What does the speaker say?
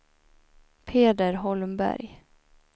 Peder Holmberg